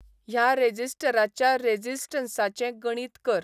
ह्या रेझिस्टराच्या रेझिस्टंसाचें गणीत कर